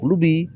Olu bɛ